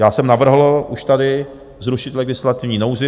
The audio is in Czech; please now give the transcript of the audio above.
Já jsem navrhl už tady zrušit legislativní nouzi.